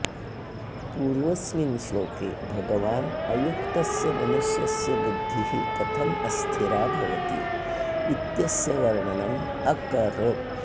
पूर्वस्मिन् श्लोके भगवान् अयुक्तस्य मनुष्यस्य बुद्धिः कथम् अस्थिरा भवति इत्यस्य वर्णनम् अकरोत्